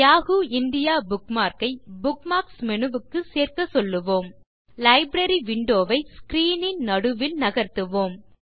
Yahoo India bookmark ஐ bookmarks menu க்கு சேர்க்க சொல்லுவோம் முதலில் லைப்ரரி விண்டோ ஐ ஸ்க்ரீன் ன் நடுவில் நகர்த்துவோம்